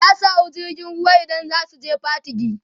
zasu hau jirgin ruwa idan zasu je Patigi